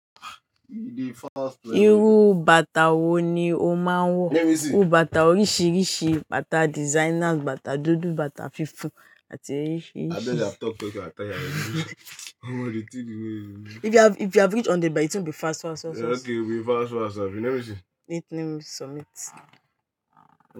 Irú bàtà wo ni o máa ń wọ̀? Ó bàtà oríṣìíríṣìí, bàtà designers, bàtà dúdú, bàtà funfun àti oríṣìíríṣìí.